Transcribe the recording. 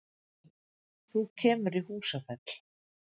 Þú kemur í Húsafell.